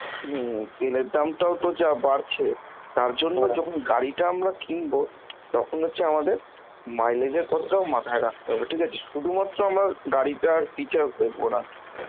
হম তেলের দামটাও তো যা বাড়ছে তার জন্য গাড়িটা আমরা কিনব, তখন হচ্ছে আমাদের, mileage এর কথাটাও মাথায় রাখতে হবে শুধুমাত্র আমরা গাড়িটার features দেখবো না